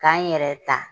K'an yɛrɛ ta